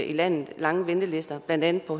i landet er lange ventelister og blandt andet på